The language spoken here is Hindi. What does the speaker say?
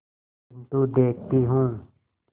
किन्तु देखती हूँ